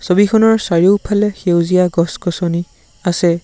ছবিখনৰ চাৰিওফালে সেউজীয়া গছ গছনি আছে।